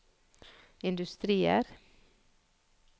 industrier